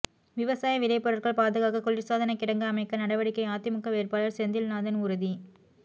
விவசாய விளைபொருட்கள் பாதுகாக்க குளிர்சாதனகிடங்கு அமைக்க நடவடிக்கை அதிமுக வேட்பாளர் செந்தில்நாதன் உறுதி